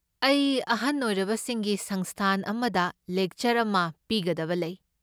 ꯑꯩ ꯑꯍꯟ ꯑꯣꯏꯔꯕꯁꯤꯡꯒꯤ ꯁꯪꯁꯊꯥꯟ ꯑꯃꯗ ꯂꯦꯛꯆꯔ ꯑꯃ ꯄꯤꯒꯗꯕ ꯂꯩ꯫